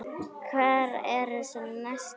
Hver eru svona næstu skrefin?